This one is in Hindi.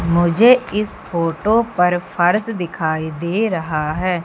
मुझे इस फोटो पर फर्श दिखाई दे रहा है।